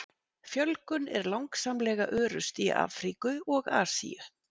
Fjölgun er langsamlega örust í Afríku og Asíu.